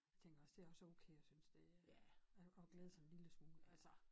Tænker også det også okay at synes det øh at at glæde sig en lille smule altså